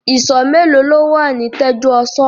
Ìsọ̀ mélòó lo wà ní Tẹ́júoṣó?